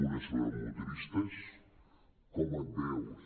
una sobre motoristes com et veus